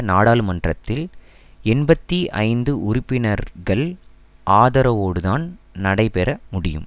நாடாளுமன்றத்தில் எண்பத்தி ஐந்து உறுப்பினர் கள் ஆதரவோடுதான் நடைபெறமுடியும்